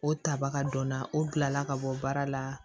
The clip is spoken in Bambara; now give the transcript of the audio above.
O tabaga donna o bilala ka bɔ baara la